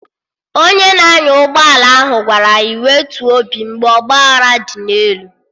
Onye na-anya ụgbọ ala ahụ gwara anyị wetuo obi mgbe ọgba aghara dị n'elu